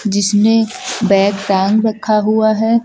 जिसने बैग टांग रखा हुआ है।